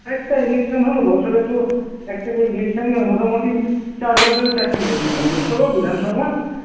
একটা election হলো বছরে তো একটা করে election ই হয়, মোটামুটি চার বছরে চারটি election হয় লোকসভা, বিধানসভা